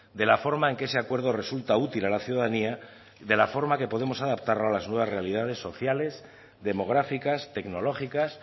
de la forma en que se acuerdo resulta útil a la ciudadanía y de la forma que podemos adaptarlo a las nuevas realidades sociales demográficas tecnológicas